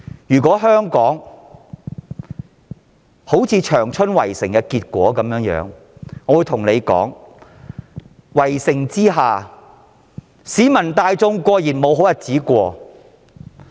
如香港像當年長春一樣被圍城，市民大眾固然沒有好日子過。